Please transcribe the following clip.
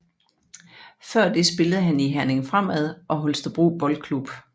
Før det spillede han i Herning Fremad og Holstebro Boldklub